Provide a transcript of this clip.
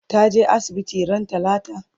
ta je asibiti ran talata?